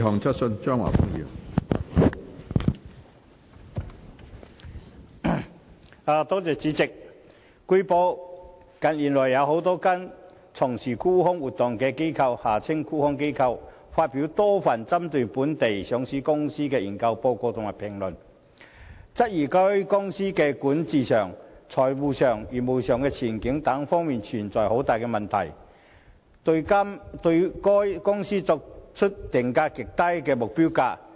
主席，據報，近月有多間從事沽空活動的機構發表多份針對某些本地上市公司的研究報告或評論，質疑該等公司在管治、財務及業務前景等方面存在問題，並對該等公司訂出極低的目標股價。